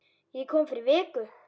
Ég kom fyrir viku